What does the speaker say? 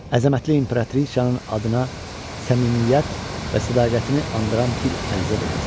Əzəmətli İmperatrisanın adına səmimiyyət və sədaqətini andıran bir ərizə də yazdı.